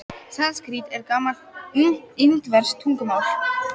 Sanskrít er gamalt indverskt tungumál.